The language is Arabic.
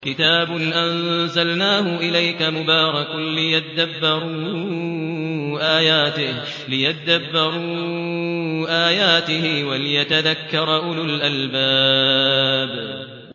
كِتَابٌ أَنزَلْنَاهُ إِلَيْكَ مُبَارَكٌ لِّيَدَّبَّرُوا آيَاتِهِ وَلِيَتَذَكَّرَ أُولُو الْأَلْبَابِ